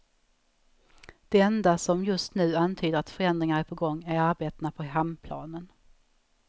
Det enda som, just nu, antyder, att förändringar är på gång, är arbetena på hamnplanen.